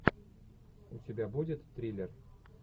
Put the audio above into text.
у тебя будет триллер